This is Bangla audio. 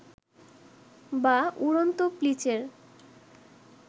বা উড়ন্ত প্লিচের